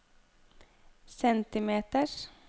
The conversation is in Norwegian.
centimeters